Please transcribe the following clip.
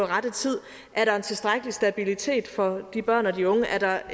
rette tid er der en tilstrækkelig stabilitet for de børn og de unge er der